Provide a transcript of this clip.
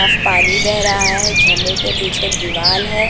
साफ़ पानी बेह रहा है झरने के पीछे दीवाल है।